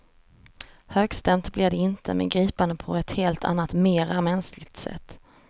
Högstämt blir det inte, men gripande på ett helt annat mera mänskligt sätt.